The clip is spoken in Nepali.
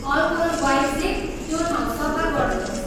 अल्कोहल वाइप्सले त्यो ठाउँ सफा गर्नुहोस्।